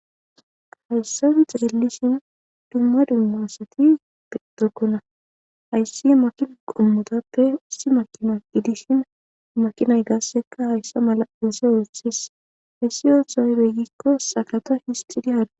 hayssan xeelishin dumma dumma asati betokkona hayssi makina qommotappe ussi makina idishin makinay gaasseka hayssa mala dese woothis hayssi oohoyroygikko sakata histidi haada